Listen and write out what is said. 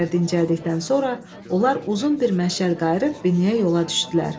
Bir qədər dincəldikdən sonra onlar uzun bir məşəl qayırıb binəyə yola düşdülər.